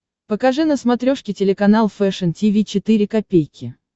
покажи на смотрешке телеканал фэшн ти ви четыре ка